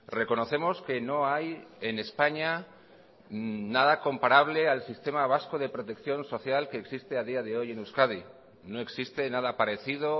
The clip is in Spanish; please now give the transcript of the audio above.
reconocemos que no hay en españa nada comparable al sistema vasco de protección social que existe a día de hoy en euskadi no existe nada parecido